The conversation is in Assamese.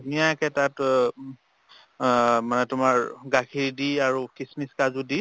ধুনীয়াকে তাত অহ আহ মানে তোমাৰ গাখীৰ দি আৰু খিচ্মিচ কাজু দি